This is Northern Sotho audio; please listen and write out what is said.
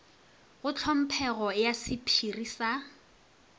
ka tlhomphego ya sephiri sa